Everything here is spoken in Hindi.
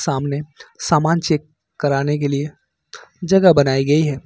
सामने सामान चेक कराने के लिए जगह बनाई गई है।